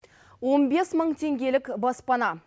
он бес мың теңгелік баспана